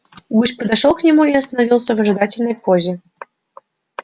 гусь подошёл к нему и остановился в ожидательной позе